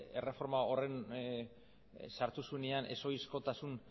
erreforma horren sartu zuenean ez ohizkotasun